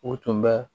O tun bɛ